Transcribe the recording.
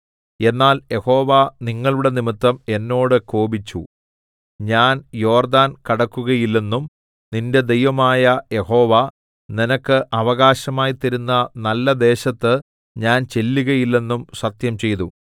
എന്നാൽ യഹോവ നിങ്ങളുടെ നിമിത്തം എന്നോട് കോപിച്ചു ഞാൻ യോർദ്ദാൻ കടക്കുകയില്ലെന്നും നിന്റെ ദൈവമായ യഹോവ നിനക്ക് അവകാശമായി തരുന്ന നല്ല ദേശത്ത് ഞാൻ ചെല്ലുകയില്ലെന്നും സത്യംചെയ്തു